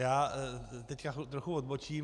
Já teď trochu odbočím.